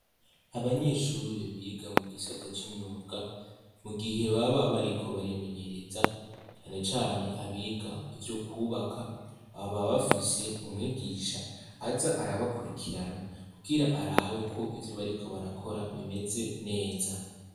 Abanyeshuri biga mu gisata c'imyuga mu gihe baba bariko barimenyereza canecane abiga ivyo kwubaka baba bafise umwigisha aza arabakurikirana kukira arabe ko ivyo bariko barakora bimeze neza.